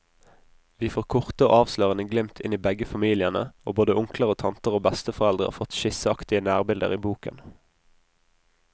Vi får korte og avslørende glimt inn i begge familiene, og både onkler og tanter og besteforeldre har fått skisseaktige nærbilder i boken.